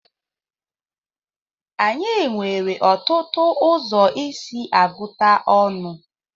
Anyị nwere ọtụtụ ụzọ isi agụta ọnụ.